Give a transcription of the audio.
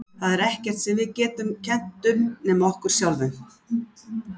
Það er ekkert sem við getum kennt um nema okkur sjálfum.